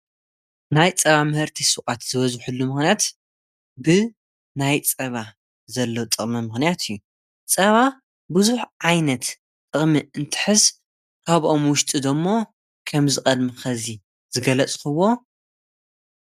ናይ ጸባ ምህርቲይ ሱቃት ዝበዝሕሉ ምክንያት ብ ናይ ጸባ ዘለዉ ጥቕሚ ምክንያት እዩ። ጸባ ብዙኅ ዓይነት ጥቕሚ እንትሕዝ ኻብኦም ውሽጢ ዶሞ ከም ዝቐድሚ ኸዚ ዝገለጽኽዎ እዩ።